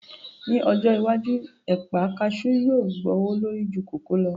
Ní ọjọ́ iwájú, ẹ̀pà kasú yóò gbówó lórí ju kòkó lọ